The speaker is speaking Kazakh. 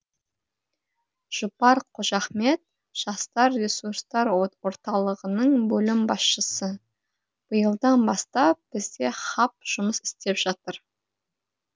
жұпар қожахмет жастар ресурстар орталығының бөлім басшысы биылдан бастап бізде хаб жұмыс істеп жатыр